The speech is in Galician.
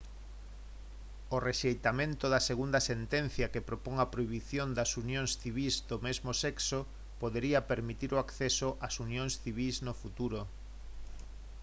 o rexeitamento da segunda sentencia que propón a prohibición das unións civís do mesmo sexo podería permitir o acceso ás unións civís no futuro